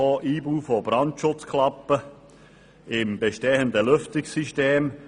Einbau von Brandschutzklappen im bestehenden Lüftungssystem;